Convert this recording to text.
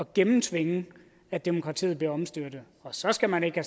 gennemtvinge at demokratiet bliver omstyrtet og så skal man ikke